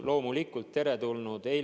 Loomulikult teretulnud otsus.